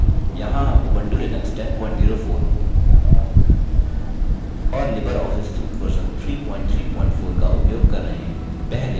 यहाँ हम Ubuntu Linux 1004 और लिबरऑफिस सूट वर्जन 334 का उपयोग कर रहे हैं